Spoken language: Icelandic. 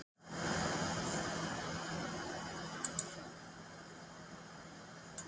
Hverjir verða Fótbolta.net meistarar?